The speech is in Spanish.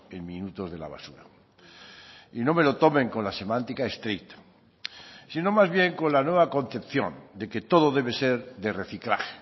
en minutos de la basura y no me lo tomen con la semántica estricta sino más bien con la nueva concepción de que todo debe ser de reciclar